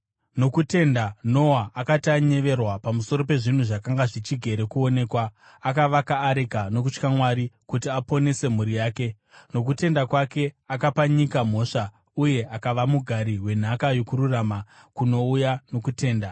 Nokutenda Noa, akati anyeverwa pamusoro pezvinhu zvakanga zvichigere kuonekwa, akavaka areka nokutya Mwari kuti aponese mhuri yake. Nokutenda kwake akapa nyika mhosva uye akava mugari wenhaka yokururama kunouya nokutenda.